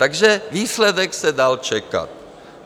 Takže výsledek se dal čekat.